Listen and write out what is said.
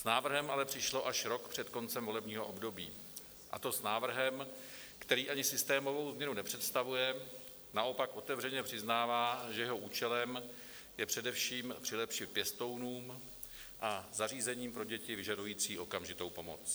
S návrhem ale přišlo až rok před koncem volebního období, a to s návrhem, který ani systémovou změnu nepředstavuje, naopak otevřeně přiznává, že jeho účelem je především přilepšit pěstounům a zařízením pro děti vyžadující okamžitou pomoc.